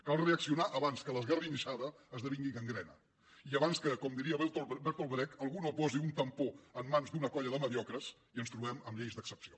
cal reaccionar abans que l’esgarrinxada esdevingui gangrena i abans que com diria bertolt brecht algú no posi un tampó en mans d’una colla de mediocres i ens trobem amb lleis d’excepció